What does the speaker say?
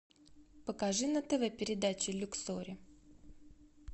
покажи на тв передачу люксори